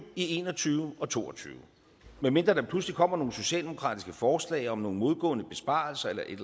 en og tyve og to og tyve medmindre der pludselig kommer nogle socialdemokratiske forslag om nogle modgående besparelser eller et